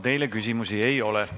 Teile küsimusi ei ole.